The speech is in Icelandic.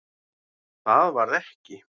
Það varð ekki.